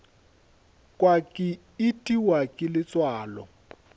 kwa ke itiwa ke letswalo